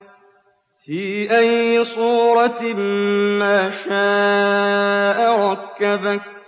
فِي أَيِّ صُورَةٍ مَّا شَاءَ رَكَّبَكَ